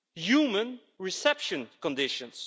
humane reception conditions